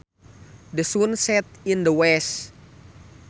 The sun sets in the west